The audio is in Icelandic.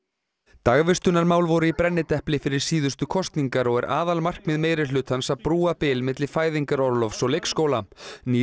dagvistunarmál voru í brennidepli fyrir síðustu kosningar og er aðalmarkmið meirihlutans að brúa bil milli fæðingarorlofs og leikskóla nýr